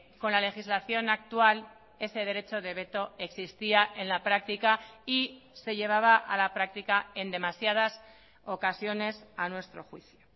con la legislación actual ese derecho de veto existía en la práctica y se llevaba a la práctica en demasiadas ocasiones a nuestro juicio